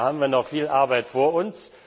Da haben wir noch viel Arbeit vor uns.